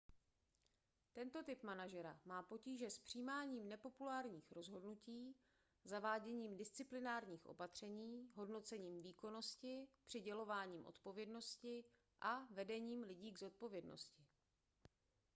tento typ manažera má potíže s přijímáním nepopulárních rozhodnutí zaváděním disciplinárních opatření hodnocením výkonnosti přidělováním odpovědnosti a vedením lidí k odpovědnosti